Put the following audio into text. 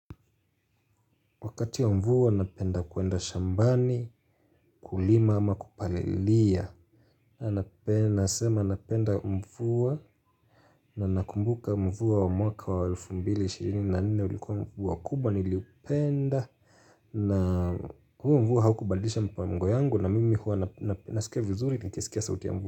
Wakati wa mvua napenda kuenda shambani kulima ama kupalilia Nasema napenda mvua na nakumbuka mvua wa mwaka wa alfu mbili ishirini na nne ulikuwa mvua kubwa niliupenda na huo mvua haukubadilisha mipango yangu na mimi huwa nasikia vizuri nikiskia sauti ya mvua.